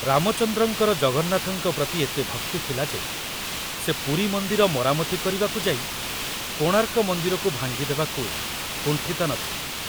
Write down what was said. ରାମଚନ୍ଦ୍ରଙ୍କର ଜଗନ୍ନାଥଙ୍କ ପ୍ରତି ଏତେ ଭକ୍ତି ଥିଲା ଯେ ସେ ପୁରୀ ମନ୍ଦିର ମରାମତି କରିବାକୁ ଯାଇ କୋଣାର୍କ ମନ୍ଦିରକୁ ଭାଙ୍ଗି ଦେବାକୁ କୁଣ୍ଠିତ ନ ଥିଲେ।